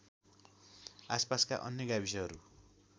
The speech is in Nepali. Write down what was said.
आसपासका अन्य गाविसहरू